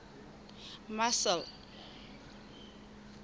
marcel